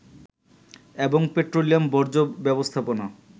এবং পেট্রোলিয়াম বর্জ্য ব্যবস্থাপনা